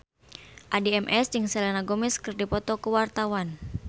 Addie MS jeung Selena Gomez keur dipoto ku wartawan